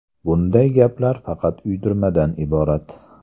Bunday gaplar faqat uydirmadan iborat.